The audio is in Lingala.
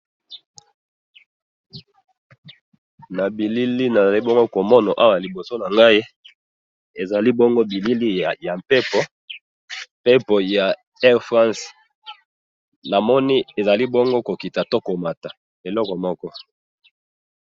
na bilili nazali bongo komona awa liboso nangai, ezali bongo bilili ya mpepo, mpepo ya air france, namoni ezali bongo kokita po komata eloko moko